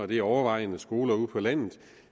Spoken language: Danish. det overvejende er skoler ude på landet